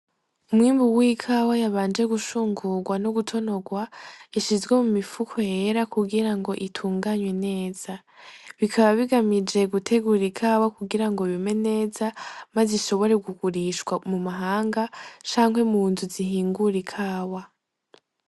Umwimbu w'ikawa yabanje gushungurwa no gutonorwa, ishizwe mu mifuko yera kugira ngo itunganywe neza, bikaba bigamije gutegura ikawa kugira ngo yume neza maze ishobore kugurishwa mu mahanga, canke mu nzu zihingura ikawa.